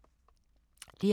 DR2